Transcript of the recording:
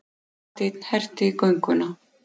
Marteinn herti gönguna.